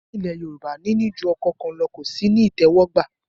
Ní ilẹ̀ Yorùbá, níní ju ọkọ kan lọ ò sí ní ìtẹ́wọ́gbà